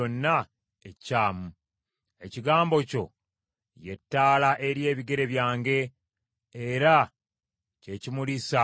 Ekigambo kyo ye ttaala eri ebigere byange, era kye kimulisa ekkubo lyange.